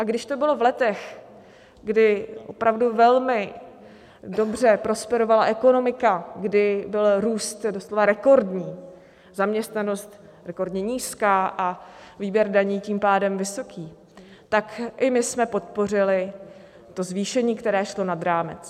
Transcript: A když to bylo v letech, kdy opravdu velmi dobře prosperovala ekonomika, kdy byl růst doslova rekordní, zaměstnanost rekordně nízká a výběr daní tím pádem vysoký, tak i my jsme podpořili to zvýšení, které šlo nad rámec.